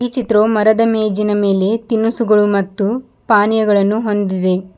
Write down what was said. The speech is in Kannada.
ಈ ಚಿತ್ರವು ಮರದ ಮೇಜಿನ ಮೇಲೆ ತಿನಸುಗಳು ಮತ್ತು ಪಾನಿಯಗಳನ್ನು ಹೊಂದಿದೆ.